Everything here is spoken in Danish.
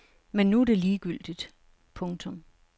Men nu er det ligegyldigt. punktum